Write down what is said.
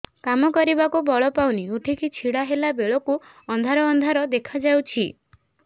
କାମ କରିବାକୁ ବଳ ପାଉନି ଉଠିକି ଛିଡା ହେଲା ବେଳକୁ ଅନ୍ଧାର ଅନ୍ଧାର ଦେଖା ଯାଉଛି